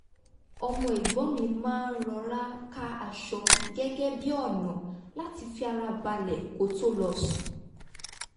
ọmọ ẹ̀gbọ́n mi máa ń rọra ká aṣọ gẹ́gẹ́ bí ọ̀nà láti fi ara balẹ̀ kó tó lọ sùn